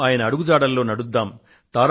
మనం ఆయన అడుగు జాడల్లో నడుద్దాము